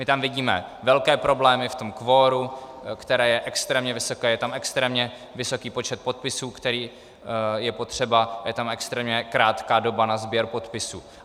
My tam vidíme velké problémy v tom kvoru, které je extrémně vysoké, je tam extrémně vysoký počet podpisů, který je potřeba, je tam extrémně krátká doba na sběr podpisů.